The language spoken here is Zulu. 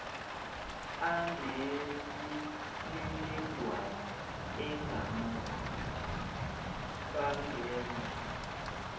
anemininingwane engamaphutha bangenza